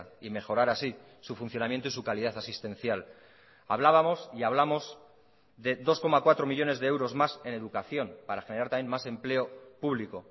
y mejorar así su funcionamiento y su calidad asistencial hablábamos y hablamos de dos coma cuatro millónes de euros más en educación para generar también más empleo público